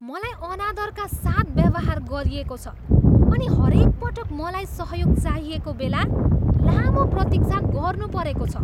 मलाई अनादरका साथ व्यवहार गरिएको छ अनि हरेक पटक मलाई सहयोग चाहिएको बेला लामो प्रतीक्षा गर्नुपरेको छ।